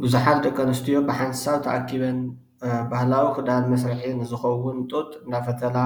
ቡዙሓት ደቂ ኣነስትዮ ብሓንሳብ ተኣኪበን ባህላዊ ክዳን ንመስርሒ ንዝከውን ጡጥ እናፈተላ